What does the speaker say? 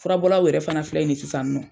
Furabɔlaw yɛrɛ fana filɛ nin ye sisan nɔ.